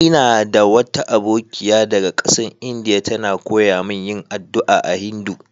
Ina da wata abokiya daga kasan lndia, ta na koyya mun yin addu'a a Hindu.